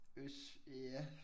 Øst ja